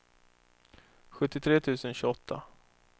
sjuttiotre tusen tjugoåtta